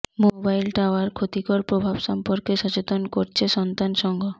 mobile tower ক্ষতিকর প্রভাব সম্পর্কে সচেতন করছে সন্তান সংঘ